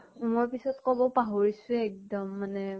মই পিছত কব পাহৰিছোয়ে এক্দম মানে।